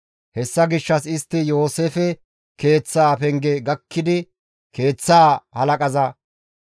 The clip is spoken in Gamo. Hessa gishshas istti Yooseefe keeththaa penge gakkidi keeththaa halaqaza,